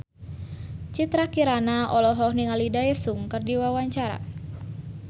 Citra Kirana olohok ningali Daesung keur diwawancara